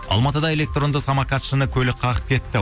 алматыда электронды самокатшыны көлік қағып кетті